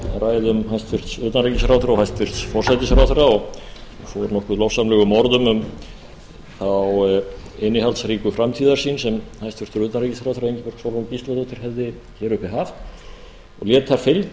ræðum hæstvirts utanríkisráðherra og hæstvirtur forsætisráðherra og fór nokkuð lofsamlegum orðum um þá innihaldsríku framtíðarsýn sem hæstvirtur utanríkisráðherra ingibjörg sólrún gísladóttir hefði hér uppi haft og lét það fylgja